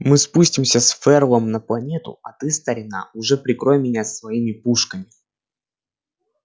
мы спустимся с ферлом на планету а ты старина уже прикрой меня своими пушками